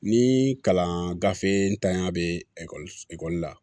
Ni kalan gafe ntanya bɛ ekɔli ekɔli la